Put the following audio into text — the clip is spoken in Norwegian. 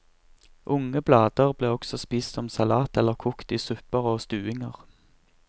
Unge blader ble også spist som salat eller kokt i supper og stuinger.